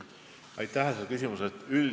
Aitäh selle küsimuse eest!